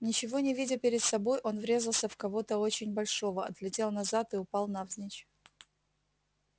ничего не видя перед собой он врезался в кого-то очень большого отлетел назад и упал навзничь